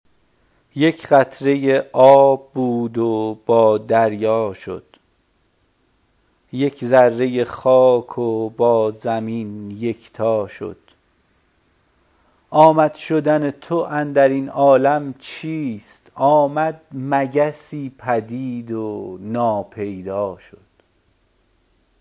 یک قطره آب بود و با دریا شد یک ذره خاک و با زمین یکتا شد آمد شدن تو اندر این عالم چیست آمد مگسی پدید و ناپیدا شد